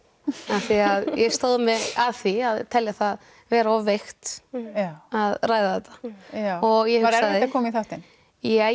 af því að ég stóð mig að því að telja það vera of veikt að ræða þetta já var erfitt að koma í þáttinn ja